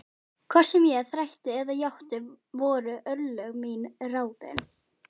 Hvort sem ég þrætti eða játti voru örlög mín ráðin.